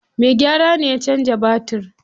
Mai gyara ne ya canza batir.